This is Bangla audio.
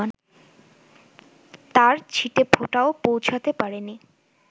তার ছিটেফোঁটাও পৌছাতে পারেনি